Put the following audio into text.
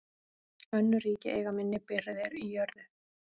Önnur ríki eiga minni birgðir í jörðu.